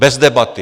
Bez debaty.